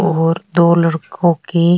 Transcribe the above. और दो लड़को की --